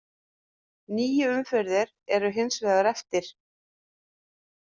Níu umferðir eru hins vegar eftir.